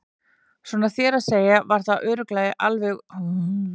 Svona þér að segja var það alveg örugglega ég